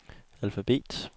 alfabet